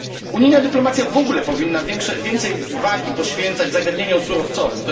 Unijna dyplomacja w ogóle powinna więcej wagi poświęcać zagadnieniom surowcowym.